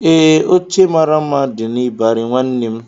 Ee, oche mara mma dị n'ịbarị nwanne m